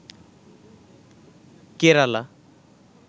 Kerala